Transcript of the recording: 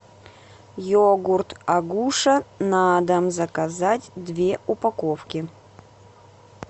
йогурт агуша на дом заказать две упаковки